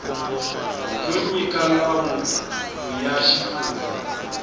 yo nyika nawu ya xifundza